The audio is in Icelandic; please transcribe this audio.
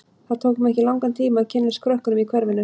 Það tók mig ekki langan tíma að kynnast krökkunum í hverfinu.